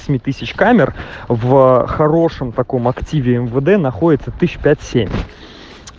семи тысяч камер в хорошем таком активе мвд находится тысяч пять семь